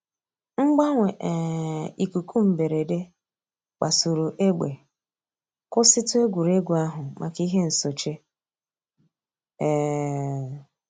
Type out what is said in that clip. Mgbanwe um íkúkụ̀ mbèrèdè kpasùrù ègbè, kwụsị̀tù ègwè́ré́gwụ̀ àhụ̀ mǎká íhè nsòché. um